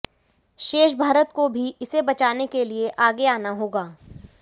शेष भारत को भी इसे बचाने के लिए आगे आना होगा